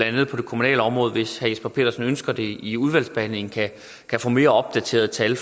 andet på det kommunale område hvis herre jesper petersen ønsker det i udvalgsbehandlingen kan få mere opdaterede tal